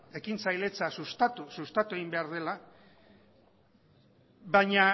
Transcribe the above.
ekintzailetza sustatu egin behar dela baina